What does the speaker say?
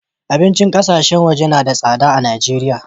Abincin ƙasashen waje na da sadda a'Nijeria.